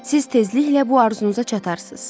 Siz tezliklə bu arzunuza çatarsız.